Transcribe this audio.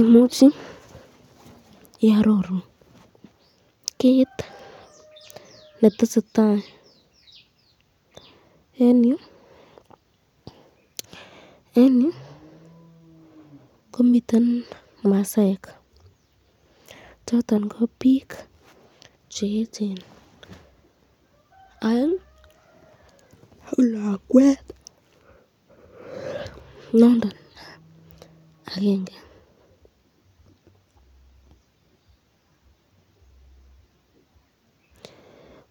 Imuchi iaroru kit netesetai eng yu, eng yu komiten masaek choton ko bik cheechen aeng ak lakwet nondon akenge,